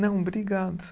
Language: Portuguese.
Não, obrigado.